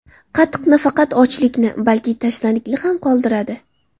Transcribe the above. Qatiq nafaqat ochlikni, balki tashnalikni ham qondiradi.